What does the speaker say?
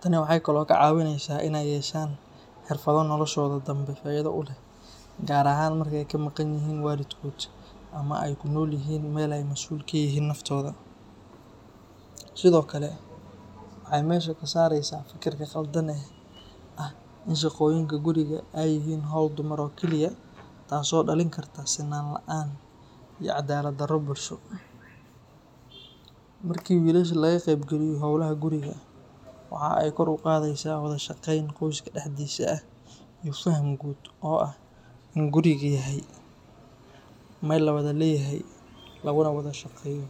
Tani waxay kaloo ka caawinaysaa inay yeeshaan xirfado noloshooda danbe faa'iido u leh, gaar ahaan marka ay ka maqan yihiin waalidkood ama ay ku noolyihiin meel ay mas’uul ka yihiin naftooda. Sidoo kale, waxay meesha ka saaraysaa fikirka khaldan ee ah in shaqooyinka guriga ay yihiin hawl dumar oo kaliya, taas oo dhalin karta sinnaan la’aan iyo cadaalad darro bulsho. Markii wiilasha laga qayb geliyo howlaha guriga, waxa ay kor u qaadaysaa wada shaqeyn qoyska dhexdiisa ah iyo faham guud oo ah in gurigu yahay meel la wada leeyahay, laguna wada shaqeeyo.